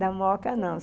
Na moca, não.